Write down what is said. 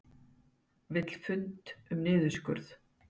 Vill fund um niðurskurð